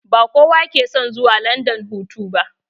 Ba kowa ke son zuwa landan hutu ba